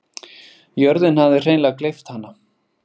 Jörðin hafði hreinleg gleypt hana.